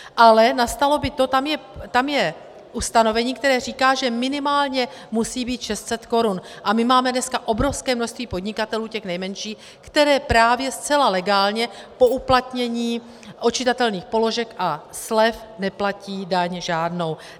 Ale nastalo by to, tam je ustanovení, které říká, že minimálně musí být 600 korun, a my máme dneska obrovské množství podnikatelů těch nejmenších, kteří právě zcela legálně po uplatnění odčitatelných položek a slev neplatí daň žádnou.